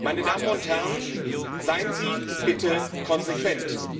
Meine Damen und Herren, seien Sie bitte konsequent!